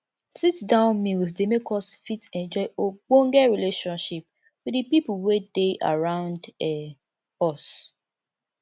sit down meals dey make us fit enjoy ogbonhe relationship with di pipo wey dey around um us